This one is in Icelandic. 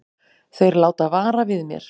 Þeir láta vara við mér.